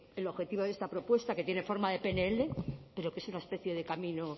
el objetivo de esta propuesta que tiene forma de pnl pero que es una especie de camino